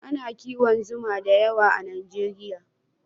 A na kiwon zuma da yawa a najeriya